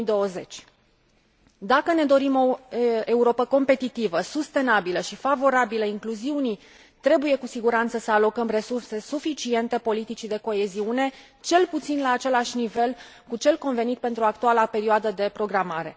2020. Dacă ne dorim o Europă competitivă, sustenabilă și favorabilă incluziunii, trebuie cu siguranță să alocăm resurse suficiente politicii de coeziune, cel puțin la același nivel cu cel convenit pentru actuala perioadă de programare.